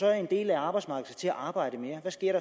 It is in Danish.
når en del af arbejdsmarkedet skal til at arbejde mere hvad sker